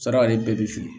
Saraka ale bɛɛ bɛ su